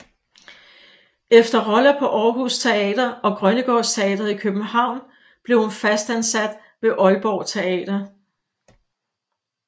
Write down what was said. Efter roller på Aarhus Teater og Grønnegårds Teatret i København blev hun fast ansat ved Aalborg Teater